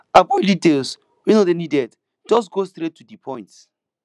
avoid details wey no dey needed just go straight to di point